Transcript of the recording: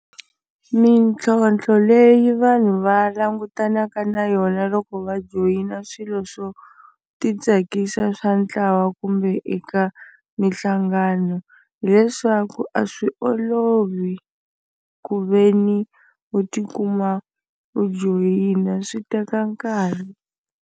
Mitlhontlho leyi vanhu va langutanaka na yona loko va joyina swilo swo ti tsakisa swa ntlawa kumbe eka minhlangano hileswaku a swi olovi ku ve ni u tikuma u joyina swi teka nkarhi.